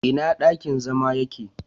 Ina dakin zama yake?